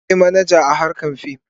Akwai manaja a harkar fim.